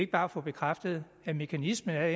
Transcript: bare få bekræftet at mekanismen er